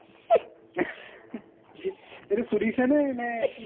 V এইটো সুধিছা নে নে কি ?